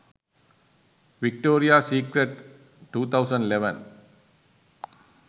victoria secret 2011